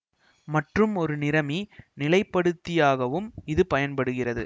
மற்றும் ஒரு நிறமி நிலைப்படுத்தியாகவும் இது பயன்படுகிறது